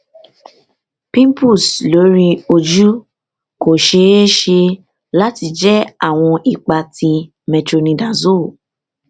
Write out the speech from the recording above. pimples lori oju ko ṣee ṣe lati jẹ awọn ipa ti metronidazole